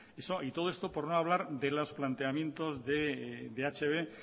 y todo esto por no hablar de los planteamientos de hb en